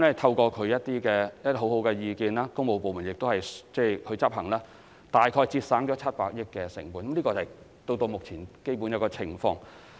透過其提出的良好意見，加上工務部門予以執行，政府至今大概節省了700億元成本，這是至今為止的基本情況。